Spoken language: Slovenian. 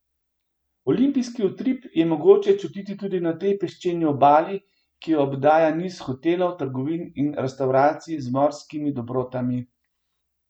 Olimpijski utrip je mogoče čutiti tudi na tej peščeni obali, ki jo obdaja niz hotelov, trgovin in restavracij z morskimi dobrotami.